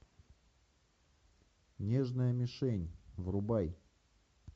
нежная мишень врубай